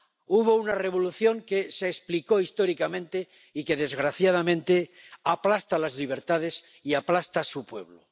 Hubo una revolución que se explicó históricamente y que, desgraciadamente, aplasta las libertades y aplasta a su pueblo.